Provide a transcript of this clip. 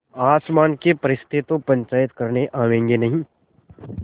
आसमान के फरिश्ते तो पंचायत करने आवेंगे नहीं